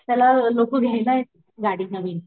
त्याला लोक घ्यायला येतात गाडी नवीन